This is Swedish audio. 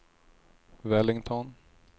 Wellington